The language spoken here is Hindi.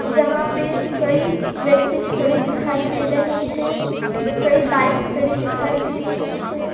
जहा पे कई व्यक्ति खड़े दिखाई दे रहे है कई बाइक खड़ी दिखाई दे रही है।